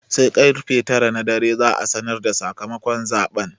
Sai karfe tara na dare za'a sanar da sakamakon zaɓen.